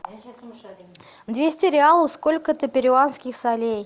двести реалов сколько это перуанских солей